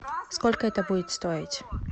сколько это будет стоить